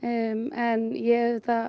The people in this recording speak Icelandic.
en ég auðvitað